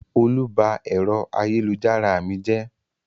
Olú ba ẹ̀rọ ayélujára mi jẹ́?